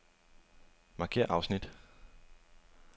Markér afsnit.